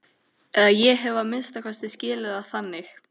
Eða ég hef að minnsta kosti skilið það þannig.